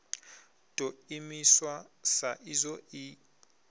ḓo imiswa sa izwo i